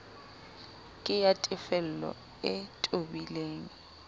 ke ya tefello e tobileng